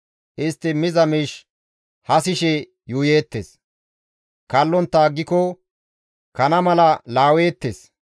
Istti miza miish hasishe yuuyeettes; kallontta aggiko kana mala laweettes.